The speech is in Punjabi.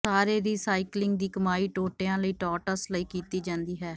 ਸਾਰੇ ਰੀਸਾਈਕਲਿੰਗ ਦੀ ਕਮਾਈ ਟੋਟਿਆਂ ਲਈ ਟੌਟਸ ਲਈ ਕੀਤੀ ਜਾਂਦੀ ਹੈ